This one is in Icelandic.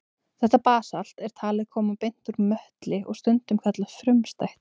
Þetta basalt er talið koma beint úr möttli og stundum kallað frumstætt.